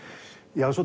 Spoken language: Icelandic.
já